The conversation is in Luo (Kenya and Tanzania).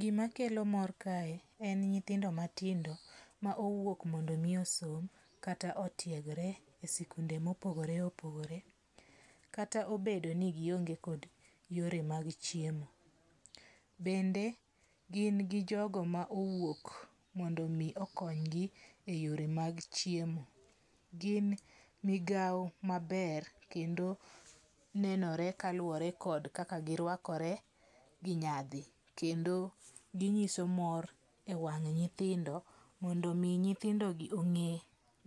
Gima kelo mor kae en nyithindo matindo ma owuok mondo omi osom kata otiegre e sikunde mopogore opogore kata obedo ni gionge kod yore mag chiemo. Bende gin gi jogo ma owuok mondo mi okony gi e yore mag chiemo. Gin migawo maber kendo nenore kaluwore kod kaka girwakore gi nyadhi kendo ginyiso mor e wang' nyithindo mondo mi nyithindo gi ong'e